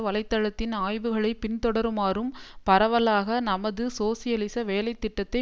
வலை தளத்தின் ஆய்வுகளைப் பின்தொடருமாறும் பரவலாக நமது சோசியலிச வேலை திட்டத்தை